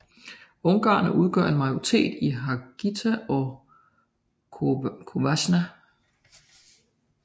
Ungarere udgør en majoritet i Harghita og Covasna